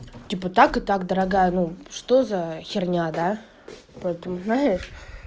типа так и так дорогая ну что за херня да поэтому знаешь